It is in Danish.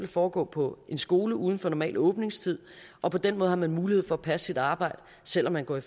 foregå på en skole uden for normal åbningstid og på den måde har man mulighed for at passe sit arbejde selv om man går i